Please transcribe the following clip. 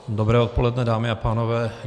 Dobré odpoledne, dámy a pánové.